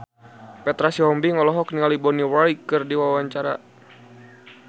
Petra Sihombing olohok ningali Bonnie Wright keur diwawancara